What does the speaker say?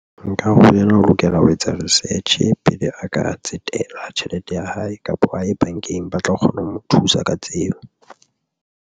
Nkare ho yena o lokela ho etsa research pele a ka tsetela tjhelete ya hae kapa a ye bankeng, ba tla kgona ho mo thusa ka tseo.